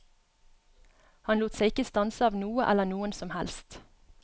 Han lot seg ikke stanse av noe eller noen som helst.